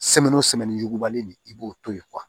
ɲugubali nin i b'o to ye